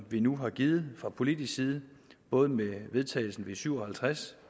vi nu har givet fra politisk side både med vedtagelsen af v syv og halvtreds